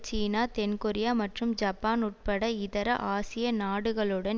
சீனா தென்கொரியா மற்றும் ஜப்பான் உட்பட இதர ஆசிய நாடுகளுடன்